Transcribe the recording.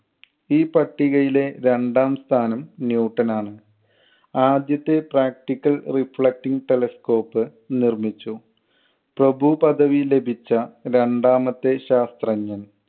ഈ പട്ടികയിലെ രണ്ടാം സ്ഥാനം ന്യൂട്ടൻ ആണ്. ആദ്യത്തെ practical reflecting telescope നിർമ്മിച്ചു. പ്രഭു പദവി ലഭിച്ച രണ്ടാമത്തെ ശാസ്ത്രജ്ഞൻ